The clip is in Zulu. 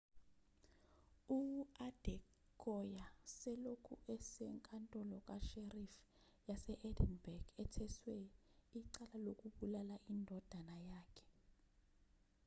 u-adekoya selokhu esenkantolo ka-sheriff yas-edinburgh etheswe icala lokubulala indodana yakhe